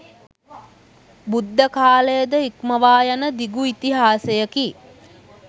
බුද්ධකාලය ද ඉක්මවා යන දිගු ඉතිහාසයකි.